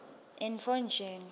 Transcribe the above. entfonjeni